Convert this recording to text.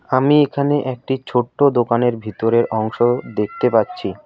আমি এখানে একটি ছোট্ট দোকানের ভিতরের অংশ দেখতে পাচ্ছি।